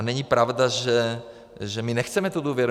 A není pravda, že my nechceme tu důvěru.